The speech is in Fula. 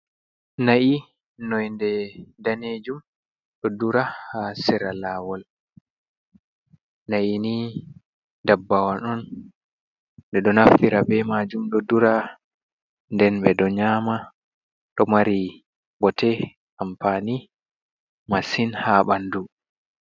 Na'yi noinde danejum ɗo dura ha sera lawol. nayi ni dabbawan on. ɗeɗo naftira be majum ɗo dura nden ɓeɗo nyama ɗo mari bote ampani masin ha ɓandu.